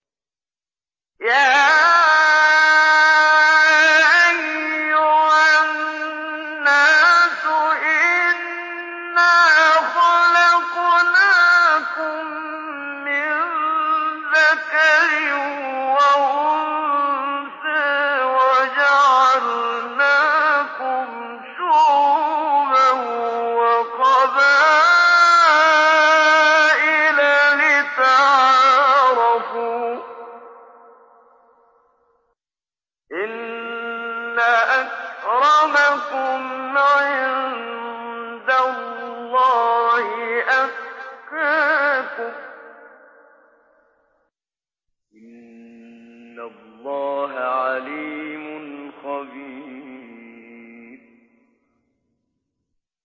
يَا أَيُّهَا النَّاسُ إِنَّا خَلَقْنَاكُم مِّن ذَكَرٍ وَأُنثَىٰ وَجَعَلْنَاكُمْ شُعُوبًا وَقَبَائِلَ لِتَعَارَفُوا ۚ إِنَّ أَكْرَمَكُمْ عِندَ اللَّهِ أَتْقَاكُمْ ۚ إِنَّ اللَّهَ عَلِيمٌ خَبِيرٌ